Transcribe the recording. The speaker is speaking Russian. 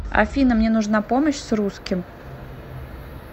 афина мне нужна помощь с русским